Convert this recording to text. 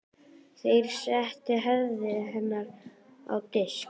Þeir settu höfuð hennar á disk.